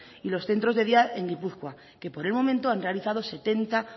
y los centros de día en gipuzkoa que por el momento han realizado setenta